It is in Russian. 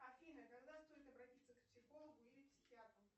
афина когда стоит обратиться к психологу или психиатру